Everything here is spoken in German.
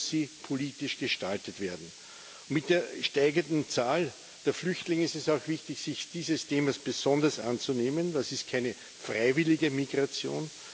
Und deshalb muss sie politisch gestaltet werden. Mit der steigenden Zahl der Flüchtlinge ist es auch wichtig, sich dieses Themas besonders anzunehmen. Das ist keine freiwillige Migration.